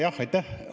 Jah, aitäh!